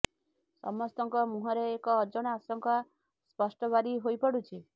ସମସ୍ତଙ୍କ ମୁଁହରେ ଏକ ଅଜଣା ଆଶଙ୍କା ସ୍ପଷ୍ଟ ବାରି ହୋଇ ପଡ଼ୁଛି